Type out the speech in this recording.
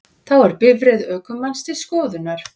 Þá er bifreið ökumanns til skoðunar